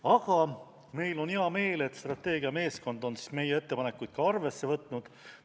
Aga meil on hea meel, et strateegia meeskond on meie ettepanekuid ka arvesse võtnud.